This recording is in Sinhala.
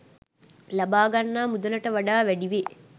ලබාගන්නා මුදලකට වඩා වැඩිවේ.